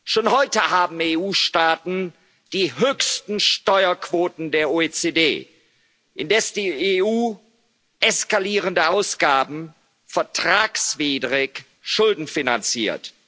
Schon heute haben EU Staaten die höchsten Steuerquoten der OECD, indes die EU eskalierende Ausgaben vertragswidrig schuldenfinanziert.